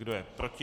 Kdo je proti?